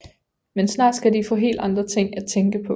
Men snart skal de få helt andre ting at tænke på